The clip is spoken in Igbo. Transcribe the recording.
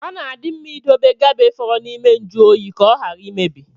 Ọ na-adị mma idobe gabe fọrọ n’ime njuoyi, ka ọ ghara imebi